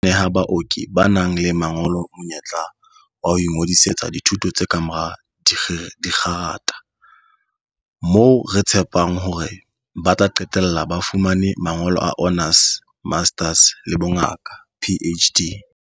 "Lengolo lena le letjha la dilemo tse tharo le tla neha baoki ba nang le mangolo monyetla wa ho ingodi-setsa dithuto tsa kamora dikgerata, moo re tshepang hore ba tla qetella ba fumane mangolo a honours, masters le a bongaka, PhD."